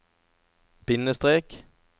bindestrek